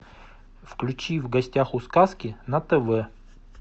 включи в гостях у сказки на тв